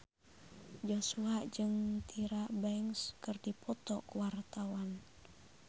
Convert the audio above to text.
Joshua jeung Tyra Banks keur dipoto ku wartawan